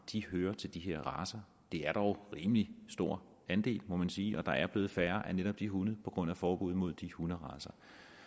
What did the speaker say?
hører til de her racer det er dog en rimelig stor andel må man sige og der er blevet færre af netop de hunde på grund af forbud mod de hunderacer